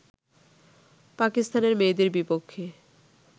পাকিস্তানের মেয়েদের বিপক্ষে